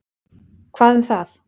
Hvað um það.